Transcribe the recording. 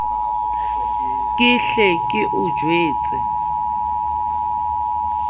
ke hle ke o jwetse